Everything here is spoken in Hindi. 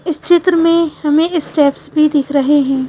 इस चित्र में हमें स्ट्रैपस भी दिख रहे है।